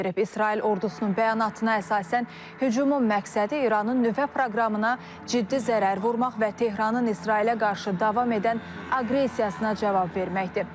İsrail ordusunun bəyanatına əsasən hücumun məqsədi İranın nüvə proqramına ciddi zərər vurmaq və Tehranın İsrailə qarşı davam edən aqressiyasına cavab verməkdir.